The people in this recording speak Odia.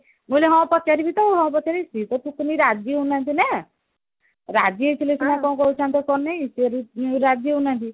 ମୁଁ କହିଲି ହଁ ପଚାରିବି ତ ଆଉ ହଁ ପଚାରିବି ସେ ତ ପୁଣି ରାଜି ହଉନାହାନ୍ତି ନା ରାଜି ହେଇଥିଲେ ସିନା କଣ କରେଇଥାନ୍ତ କଣ ନାଇଁ ଇଏ ରାଜି ହଉନାହାନ୍ତି